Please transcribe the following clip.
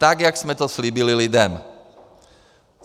Tak jak jsme to slíbili lidem.